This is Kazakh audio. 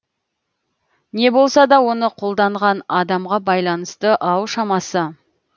не болса да оны қолданған адамға байланысты ау шамасы